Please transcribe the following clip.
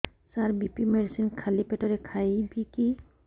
ସାର BP medicine ଖାଲି ପେଟରେ ଖାଇବି କି